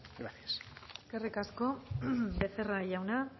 gracias eskerrik asko becerra jauna